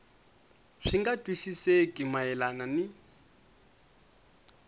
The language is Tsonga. swi nga twisisekeki mayelana ni